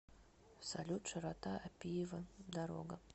салют широта аппиева дорога